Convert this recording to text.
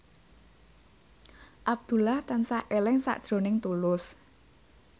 Abdullah tansah eling sakjroning Tulus